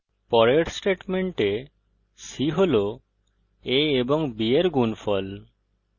পরের statement c হল a of b in গুনফল